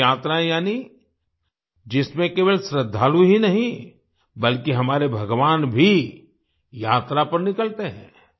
देव यात्राएं यानी जिसमें केवल श्रद्धालु ही नहीं बल्कि हमारे भगवान भी यात्रा पर निकलते हैं